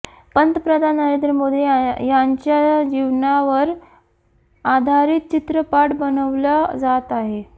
पंतप्रधान नरेंद्र मोदी यांच्या जीवनावर आधारीत चित्रपट बनवला जात आहे